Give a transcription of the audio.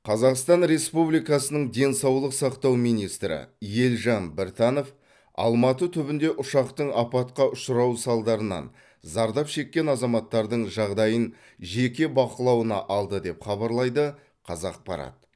қазақстан республикасының денсаулық сақтау министрі елжан біртанов алматы түбінде ұшақтың апатқа ұшырауы салдарынан зардап шеккен азаматтардың жағдайын жеке бақылауына алды деп хабарлайды қазақпарат